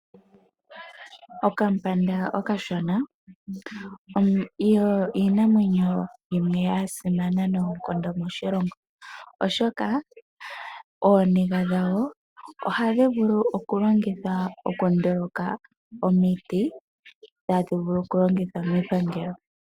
Okandjamba okashona oyo iinamwenyo yimwe yasimana noonkondo moshilongo, oshoka ooniga dhawo ohadhi vulu okulongithwa okunduluka omiti ndhono hadhi vulu okulongitha miipangelo .